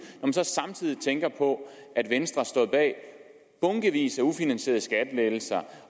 samtidig tænker på at venstre har stået bag bunkevis af ufinansierede skattelettelser